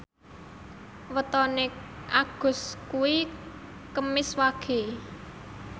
wetone Agus kuwi Kemis Wage